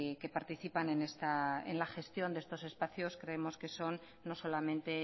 que participan en la gestión de estos espacios creemos que son no solamente